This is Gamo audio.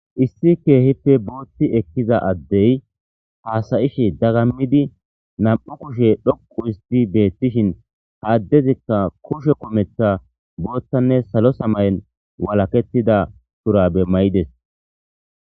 issi keehippe booththi ekkiza addey haasayishe dagammidi nam7u kushe dhoqu isti beettishin ha addezikka kushe kometha booththanne salo samayen walakettida tura bemmayides